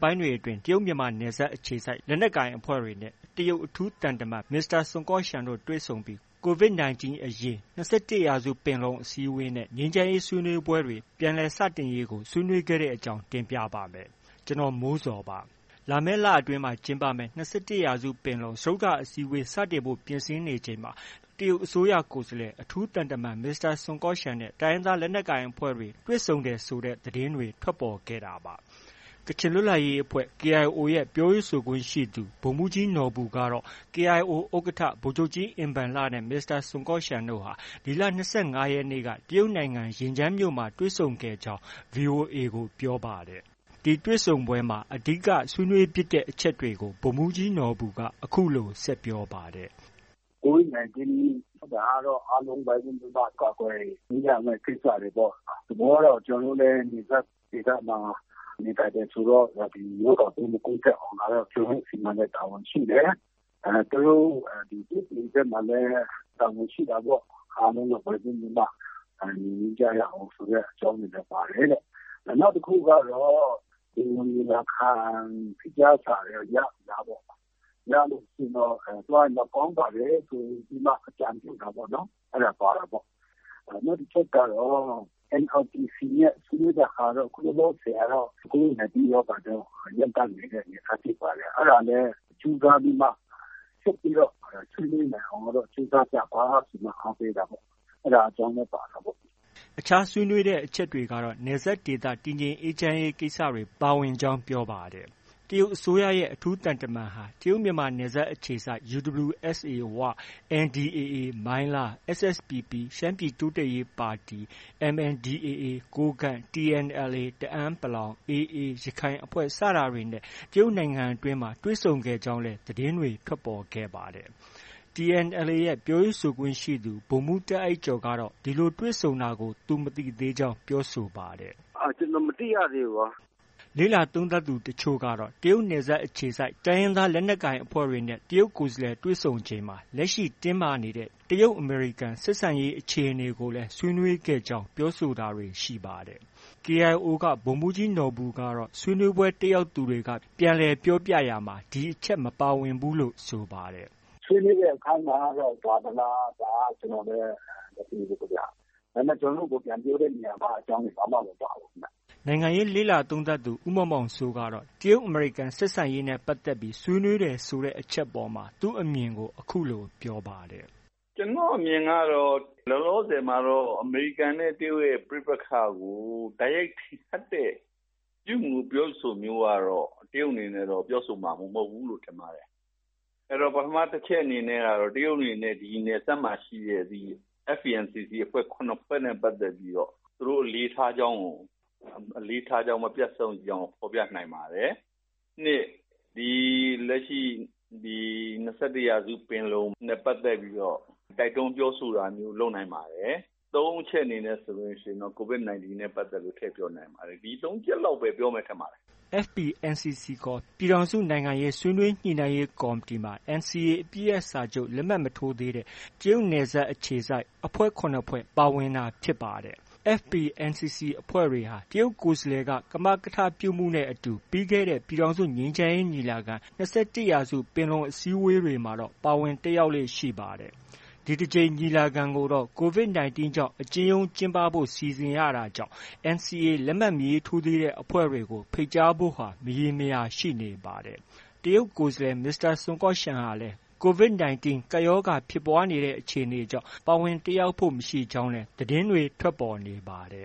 ပိုင်းတွေ အတွင်းမှာ တရုတ်မြန်မာနယ်စပ် အခြေစိုက်လက်နက်ကိုင်အဖွဲ့တွေနဲ့ တရုတ်အထူးသံတမန် မစ္စတာ ဆွန်ကော့ရှန်တို့ တွေ့ဆုံပြီး COVID 19 အရေး၊ ၂၁ ပင်လုံအစည်းအဝေးနဲ့ ငြိမ်းချမ်းရေးဆွေးနွေးပွဲတွေ စတင်ရေးကို ဆွေးနွေးခဲ့တဲ့သတင်းကို ဗွီအိုအေမြန်မာပိုင်းသတင်းထောက် ကိုမိုးဇော်က တင်ပြပေးပါမယ်။ လာမယ့်လအတွင်းမှာ ကျင်းပမယ့် ၂၁ ပင်လုံ စတုတ္တအစည်းအဝေး စတင်ဖို့ ပြင်ဆင်နေချိန်မှာ တရုတ်အစိုးရ ကိုယ်စားလှယ် အထူးသံတမန် မစ္စတာဆွန်ကော့ရှန်နဲ့ တိုင်းရင်းသားလက်နက်ကိုင်အဖွဲ့တွေ တွေ့ဆုံတယ်ဆိုတဲ့ သတင်းတွေလည်း ထွက်ပေါ်ခဲ့ပါတယ်။ ကချင်လွတ်လပ်ရေးအဖွဲ့ KIO ရဲ့ ပြောရေးဆိုခွင့်ရှိသူ ဗိုလ်မှူးကြီးနော်ဘူကတော့ KIO ဥက္ကဋ္ဌ ဗိုလ်ချုပ်ကြီးအင်ဘန်လနဲ့ မစ္စတာဆွန်ကော့ရှန်တို့ဟာ ဒီလ ၂၅ ရက်နေ့ က တရုတ်နိုင်ငံ ယင်ကျန်းမြို့မှာ တွေ့ဆုံဆွေးနွေးခဲ့ကြောင်း VOA ကို ပြောပါတယ်။ ဒီဆွေးနွေးပွဲမှာ အဓိက ဆွေးနွေးဖြစ်တဲ့အချက်တွေကို ဗိုလ်မှူးကြီးနော်ဘူက အခုလို ဆက်ပြောပါတယ်။ "COVID 19 ကတော့ အားလုံး ဝိုင်းဝန်းပြီး ကာကွယ်ပေးရမယ့် ကိစ္စတွေပေါ့။ သဘောကတော့ ကျနော်တို့လည်း နယ်စပ်ဒေသမှာ နေထိုင်တယ်ဆိုတော့ ဒီ ရောဂါပိုးမကူးစက်အောင် ကျနော်တို့ဆီမှာလည်း တာဝန်ရှိတယ်။ သူတို့ တရုတ်ပြည်ဘက်မှာလည်း တာဝန်ရှိတာပေါ့။ အားလုံး ဝိုင်းဝန်းပြီးမှ နှိမ်နင်းကြရအောင်ဆိုတဲ့အကြောင်းတွေလည်း ပါတယ်တဲ့။ နောက်တစ်ခုကတော့ ပင်လုံညီလာခံ ဖိတ်ကြားစာရော ရပြီလားပေါ့။ ရလို့ရှိရင် သွားရင်တော့ ကောင်းပါတယ်ဆိုပြီး အကြံပြုတာပေါ့။ အဲဒါ ပါတာပေါ့။ နောက် တစ်ချက်ကတော့ NRPC နဲ့ ဆွေးနွေးတဲ့ဟာတော့ ခုလောလောဆယ်ကတော့ COVID 19 ရောဂါကြောင့် ရပ်တန့်နေတဲ့ အနေအထားဖြစ်ပါတယ်။ အဲဒါလည်း ဆက်ပြီးတော့ ဆွေးနွေးနိုင်အောင်တော့ ကြိုးစားကြပါဆိုပြီး အားပေးတာပေါ့။ အဲဒါအကြောင်းလည်း ပါတာပေါ့။ ” အခြားဆွေးနွေးတဲ့အချက်ကတော့ နယ်စပ်ဒေသတည် ငြိမ်းအေးချမ်းရေးကိစ္စတွေ ပါဝင်ကြောင်း ပြောပါတယ်။ တရုတ်အစိုးရရဲ့ အထူးသံတမန်ဟာ တရုတ်မြန်မာနယ်စပ်အခြေစိုက် UWSA ဝ၊ NDAA မိုင်းလား၊ SSPP ရှမ်းပြည်တိုးတက်ရေးပါတီ၊ MNDAA ကိုးကန့်၊ TNLA တအန်း ၊ AA ရခိုင်စတဲ့အဖွဲ့တွေနဲ့ တရုတ်နိုင်ငံအတွင်းမှာ တွေ့ဆုံဆွေးနွေးခဲ့ကြောင်းလည်း သတင်းတွေ ထွက်ပေါ်ခဲ့ပါတယ်။ TNLA ရဲ့ ပြောရေးဆိုခွင့်ရှိသူ ဗိုလ်မှူးတာ့အိုက်ကျော်ကတော့ ဒီလိုတွေ့ဆုံတာကို သူမသိသေးကြောင်း ပြောဆိုပါတယ်။ “ ကျနော် မသိရသေးဘူး။” လေ့လာသုံးသပ်သူ တချို့ကတော့ တရုတ်နယ်စပ်အခြေစိုက် တိုင်းရင်းသားလက်နက်ကိုင်အဖွဲ့တွေနဲ့ တရုတ်ကိုယ်စားလှယ် တွေ့ဆုံချိန်မှာ လက်ရှိ တင်းမာနေတဲ့ တရုတ်- အမေရိကန်ဆက်ဆံရေး အခြေအနေကိုလည်း ဆွေးနွေးခဲ့ကြောင်း ပြောဆိုတာတွေ ရှိပါတယ်။ KIO က ဗိုလ်မှူးကြီးနော်ဘူကတော့ ဆွေးနွေးပွဲ တက်ရောက်သူတွေက ပြန်လည်ပြောပြရာမှာ ဒီအချက် မပါဝင်ဘူးလို့ ဆိုပါတယ်။ “ဆွေးနွေးတဲ့အပိုင်းမှာ ပါသလား ဒါတော့ ကျနော်လည်း မသိဘူးခင်ဗျ။ ဒါပေမဲ့ ကျနော်တို့ကို ပြန်ပြောတဲ့အပိုင်းမှာ ဒီအကြောင်းတွေ မပါဘူးခင်ဗျ။” နိုင်ငံရေးလေ့လာသုံးသပ်သူ ဦးမောင်မောင်စိုးကတော့ တရုတ်-အမေရိကန်ဆက်ဆံရေးနဲ့ ပတ်သက်ပြီး ဆွေးနွေးတယ်ဆိုတဲ့အချက်အပေါ် သူ့အမြင်ကို အခုလို ပြောပါတယ်။ “ကျနော့်အမြင်ကတော့ လောလောဆယ်မှာတော့ အမေရိကန်နဲ့ တရုတ်ရဲ့ ပဋိပက္ခကို တိုက်ရိုက်ထင်ဟပ်တဲ့ ပြုမူပြောဆိုမှုမျိုးကတော့ တရုတ်အနေနဲ့ ပြောဆိုမှာ မဟုတ်ဘူးလို့ ထင်ပါတယ်။ အဲတော့ ပထမအချက်အနေနဲ့ကတော့ တရုတ်အနေနဲ့ ဒီနယ်စပ်မှာ ရှိတဲ့ FPNCC အဖွဲ့ ၇ ဖွဲ့နဲ့ပတ်သက်ပြီး သူတို့ အလေးထားကြောင်း၊ မပြတ်စောင့်ကြည့်ကြောင်းကို ဖော်ပြနိုင်ပါတယ်။ နှစ် ဒီ ၂၁ ရာစုပင်လုံနဲ့ပတ်သက်ပြီးတော့ တိုက်တွန်းပြောဆိုတာမျိုး လုပ်နိုင်ပါတယ်။ ၃ အချက်အနေနဲ့တော့ COVID 19 ကိစ္စထည့်ပြောနိုင်ပါတယ်။ ဒီ သုံး ချက်လောက်ပဲ ပြောမယ် ထင်ပါတယ်။ ” FPNCC ခေါ် ပြည်ထောင်စု နိုင်ငံရေးဆွေးနွေးညှိနှိုင်းရေးကော်မတီမှာ NCA အပစ်ရပ်စာချုပ် လက်မှတ်မထိုးသေးတဲ့ တရုတ်နယ်စပ်အခြေစိုက်အဖွဲ့ ၇ ဖွဲ့ ပါဝင်တာဖြစ်ပါတယ်။ FPNCC အဖွဲ့တွေ ဟာ တရုတ်ကိုယ်စားလှယ်က ကမကထပြုမှုနဲ့အတူ ပြီးခဲ့တဲ့ ပြည်ထောင်စုငြိမ်းချမ်းရေးညီလာခံ - ၂၁ရာစုပင်လုံအစည်းအဝေးတွေမှာတော့ ပါဝင်တက်ရောက်ခဲ့လေ့ရှိပါတယ်။ ဒီတကြိမ် ညီလာခံကိုတော့ COVID 19 ကြောင့် အကျဉ်းရုံး ကျင်းပဖို့ စီစဉ်ရတာကြောင့် NCA လက်မှတ် မထိုးသေးတဲ့အဖွဲ့တွေကို ဖိတ်ကြားဖို့ မရေမရာ ရှိနေပါတယ်။ တရုတ် ကိုယ်စားလှယ်မစ္စတာဆွန်ကော့ရှန်ဟာလည်း COVID 19 ကပ်ရောဂါ ဖြစ်ပွားနေတဲ့အခြေအနေကြောင့် ပါဝင်တက်ရောက်ဖို့ မရှိကြောင်းလည်း သတင်းတွေ ထွက်ပေါ်နေပါတ